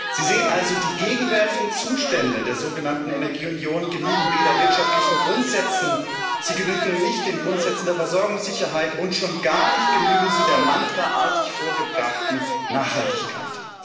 Sie sehen also, die gegenwärtigen Zustände der sogenannten Energieunion genügen weder wirtschaftlichen Grundsätzen, sie genügen nicht den Grundsätzen der Versorgungssicherheit und schon gar nicht genügen sie der mantraartig vorgebrachten Nachhaltigkeit.